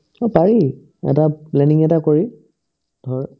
অ, পাৰি এটা planning এটা কৰি ধৰ্